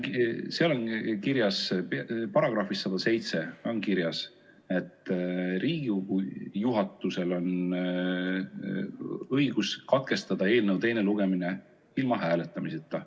Seal on kirjas, §‑s 107 on kirjas, et Riigikogu juhatusel on õigus katkestada eelnõu teine lugemine ilma hääletamiseta.